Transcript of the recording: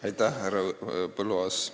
Aitäh, härra Põlluaas!